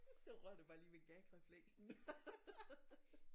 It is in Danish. Så ryger det bare lige ud i gag refleksen